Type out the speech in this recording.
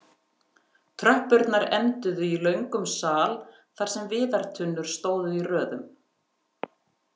Tröppurnar enduðu í löngum sal þar sem viðartunnur stóðu í röðum.